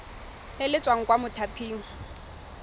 le le tswang kwa mothaping